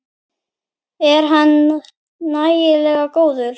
Er hann nægilega góður?